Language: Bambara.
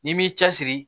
N'i m'i cɛsiri